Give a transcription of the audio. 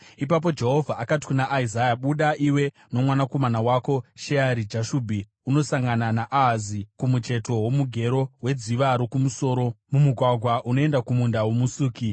Ipapo Jehovha akati kuna Isaya, “Buda, iwe nomwanakomana wako Sheari-Jashubhi, unosangana naAhazi kumucheto womugero weDziva Rokumusoro, mumugwagwa unoenda kuMunda woMusuki.